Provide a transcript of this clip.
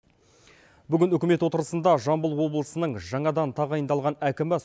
бүгін үкімет отырысында жамбыл облысының жаңадан тағайындалған әкімі